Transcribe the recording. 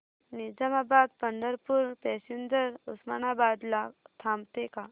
Nizamabad Pandharpur passenger Osmanabad ला थांबते का